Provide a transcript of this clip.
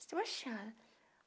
Sebastiana